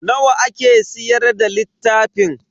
Nawa ake siyar da littafin?